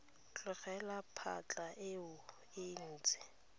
tlogela phatlha eo e ntse